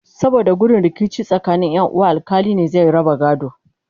saboda gudun rikici tsakanin Ƴan uwa alkali ne zai raba gadon